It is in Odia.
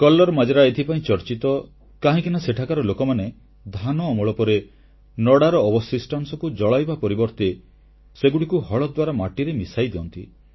କଲ୍ଲର ମାଜରା ଏଥିପାଇଁ ଚର୍ଚ୍ଚିତ କାହିଁକି ନା ସେଠାକାର ଲୋକମାନେ ଧାନ ଅମଳ ପରେ ନଡ଼ାର ଅବଶିଷ୍ଟାଂଶକୁ ଜଳାଇବା ପରିବର୍ତ୍ତେ ସେଗୁଡ଼ିକୁ ହଳ ଦ୍ୱାରା ମାଟିରେ ମିଶାଇଦିଅନ୍ତି